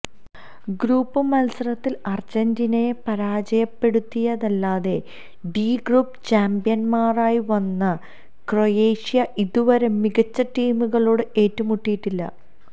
group മത്സരത്തില് അര്ജന്റീനയെ പരാജയപ്പെടുത്തിയതല്ലാതെ ഡി ഗ്രൂപ്പ് ചാംപ്യന്മാരായി വന്ന ക്രൊയേഷ്യ ഇതുവരെ മികച്ച ടീമുകളോട് ഏറ്റുമുട്ടിയിട്ടില്ല